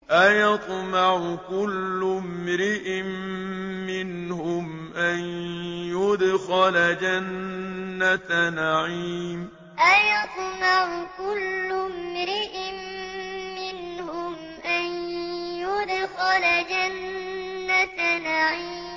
أَيَطْمَعُ كُلُّ امْرِئٍ مِّنْهُمْ أَن يُدْخَلَ جَنَّةَ نَعِيمٍ أَيَطْمَعُ كُلُّ امْرِئٍ مِّنْهُمْ أَن يُدْخَلَ جَنَّةَ نَعِيمٍ